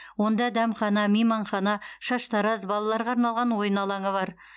онда дәмхана мейманхана шаштараз балаларға арналған ойын алаңы бар